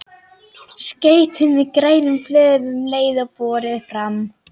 Skreytið með grænum blöðum um leið og borið er fram.